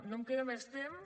no em queda més temps